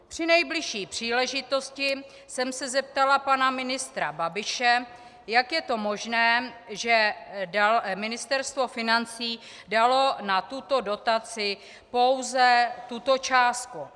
Při nejbližší příležitosti jsem se zeptala pana ministra Babiše, jak je to možné, že Ministerstvo financí dalo na tuto dotaci pouze tuto částku.